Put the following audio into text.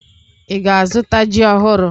Ị ga-azụta ji ọhụrụ?